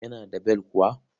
Yana da bel kuwa.